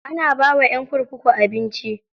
Ana bawa ƴan kurkuku abinci.